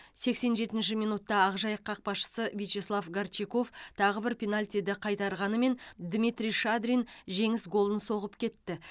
сексен жетінші минутта ақжайық қақпашысы вячеслав горчаков тағы бір пенальтиді қайтарғанымен дмитрий шадрин жеңіс голын соғып кетті